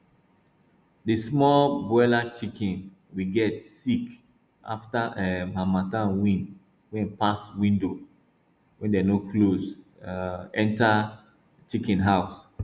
di small broiler chiken we get sick afta um harmattan wind wey pass window wey dem no close um enter chiken house